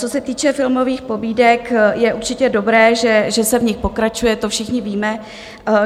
Co se týče filmových pobídek, je určitě dobré, že se v nich pokračuje, to všichni víme.